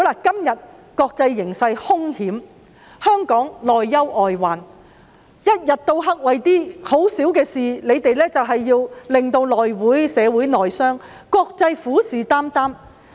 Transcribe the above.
現時國際形勢凶險，香港面對內憂外患，但反對派依然整天為一些小事而導致社會內傷，令國際虎視眈眈。